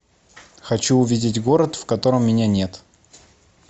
хочу увидеть город в котором меня нет